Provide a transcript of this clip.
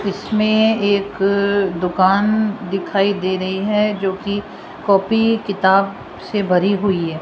इसमें एक दुकान दिखाई दे रही है जो की कॉपी किताब से भरी हुई है।